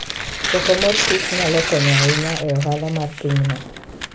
Choko mor kich nyalo konyo ahinya e ohala mar pinyno.